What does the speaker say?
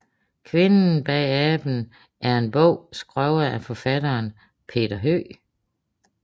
Kvinden og aben er en bog skrevet af forfatteren Peter Høeg